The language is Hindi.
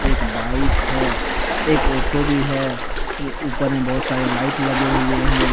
एक बाइक है एक ओटो भी है ये ऊपर में बहुत सारे लाइट लगे हुए हैं ।